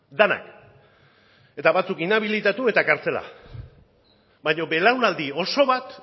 denak eta batzuk inhabilitatu eta kartzelara baina belaunaldi oso bat